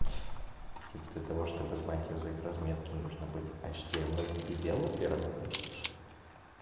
типо для того чтобы знать язык разметки нужно быть ашдимэль девелопером